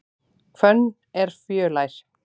Hvönn er fjölær.